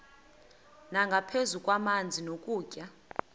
nangaphezu kwamanzi nokutya